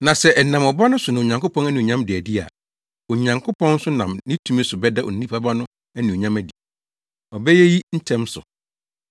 Na sɛ ɛnam Ɔba no so na Onyankopɔn anuonyam da adi a, Onyankopɔn nso nam ne tumi so bɛda Onipa Ba no anuonyam adi. Ɔbɛyɛ eyi ntɛm so.